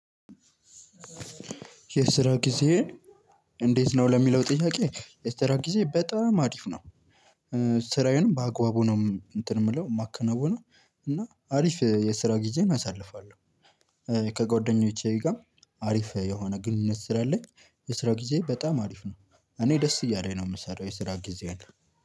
የስራ ጊዜ? እንዴት ነው ለሚለው ጥያቄ የስራ ጊዜ በጣም አሪፍ ነው። ስራዬንም በአግባቡ ነው እንትን የምለው የማከናውነው እና አሪፍ የስራ ጊዜን አሳልፋለሁ። ከጓደኞቼ ጋር አሪፍ የሆነ ግንኙነት ስላለኝ የስራ ጊዜዬ በጣም አሪፍ ነው። እኔ ደስ እያለኝ ነው የምሰራው የስራ ጊዜዬን